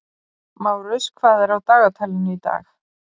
Márus, hvað er á dagatalinu í dag?